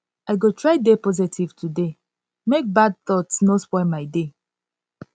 i go try dey positive today make make bad thoghts no spoil my day